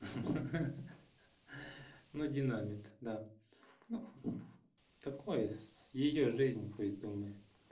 ха-ха ну динамит ну да такое с её жизнь пусть думает